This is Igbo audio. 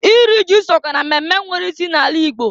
Iri ji sokwa na mmemme nwere isi na-ala ịgbo.